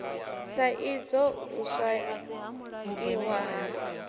sa idzwo u swaiwa ha